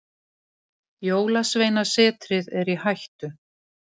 Jólasveinasetrið er í hættu.